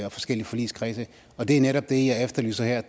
og forskellige forligskredse og det er netop det jeg efterlyser her